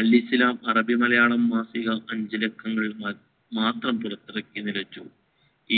അൽ ഇസ്ലാം അറബി മലയാള മാസിക അഞ്ചു ലക്കങ്ങൾ മാത്രം പുറത്തിറക്കി നിലച്ചു